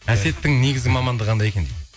әсеттің негізі мамандығы қандай екен дейді